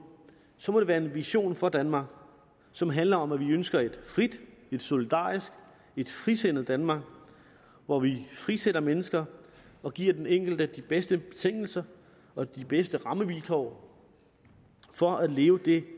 så må det være en vision for danmark som handler om at vi ønsker et frit et solidarisk et frisindet danmark hvor vi frisætter mennesker og giver den enkelte de bedste betingelser og de bedste rammevilkår for at leve det